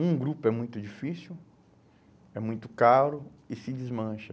Um grupo é muito difícil, é muito caro e se desmancha.